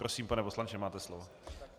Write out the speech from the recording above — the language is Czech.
Prosím, pane poslanče, máte slovo.